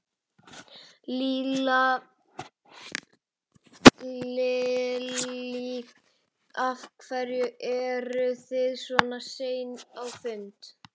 Lillý: Af hverju eru þið svona sein á fundin?